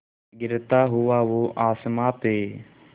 गिरता हुआ वो आसमां से